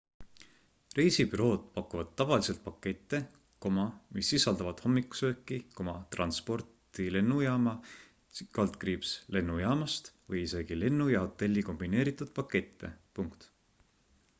reisibürood pakuvad tavaliselt pakette mis sisaldavad hommikusööki transporti lennujaama/lennujaamast või isegi lennu ja hotelli kombineeritud pakette